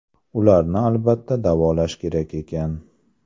Ularni albatta davolash kerak ekan.